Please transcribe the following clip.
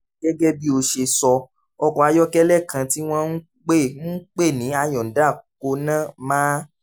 gẹ́gẹ́ bí ó ṣe sọ ọkọ̀ ayọ́kẹ́lẹ́ kan tí wọ́n ń pè ń pè ní hyundai kona máa